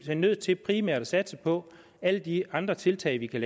nødt til primært at satse på alle de andre tiltag vi kan